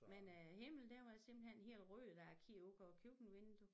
Men øh himlen den var simpelthen helt rød da jeg kiggede ud på køkkenviduet